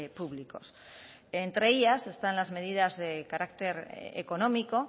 públicos entre ellas están las medidas de carácter económico